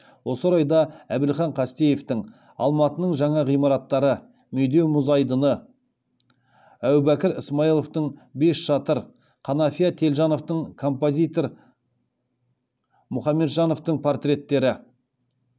осы орайда әбілхан қастеевтің алматының жаңа ғимараттары медеу мұз айдыны әубәкір ысмайыловтың бес шатыр қанафия телжановтың композитор мұхамеджановтың портреттері